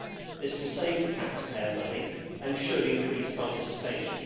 This will save the taxpayer money and should increase participation.